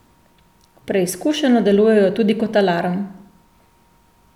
Preizkušeno delujejo tudi kot alarm!